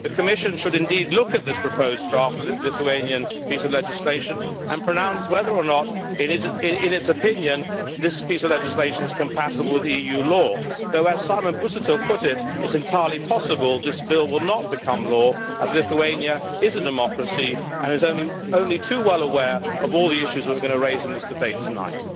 The Commission should indeed look at this proposed draft Lithuanian piece of legislation and pronounce whether or not, in its opinion, this piece of legislation is compatible with EU law although, as Simon Busuttil put it, it is entirely possible that this bill will not become law, as Lithuania is a democracy and is only too well aware of all the issues we are going to raise in this debate tonight.